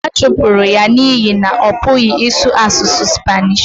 ha chụpụrụ ya n’ihi na ọ pụghị ịsụ asụsụ Spanishi